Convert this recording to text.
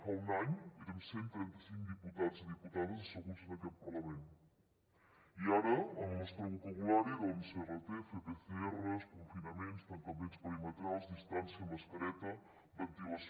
fa un any érem cent i trenta cinc diputats i diputades asseguts en aquest parlament i ara en el nostre vocabulari rts fer pcrs confinaments tancaments perimetrals distància mascareta ventilació